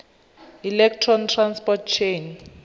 electron transport chain